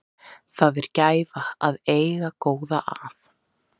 Það er gæfa að eiga góða að.